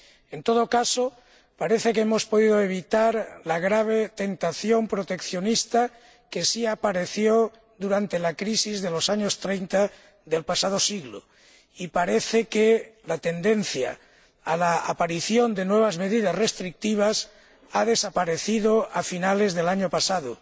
En todo caso, parece que hemos podido evitar la grave tentación proteccionista que sí apareció durante la crisis de los años 30 del pasado siglo y parece que la tendencia a la aparición de nuevas medidas restrictivas desapareció a finales del año pasado.